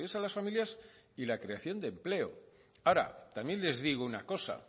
a las familias y la creación de empleo ahora también les digo una cosa